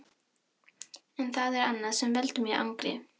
En það er annað sem veldur mér angri.